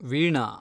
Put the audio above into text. Veena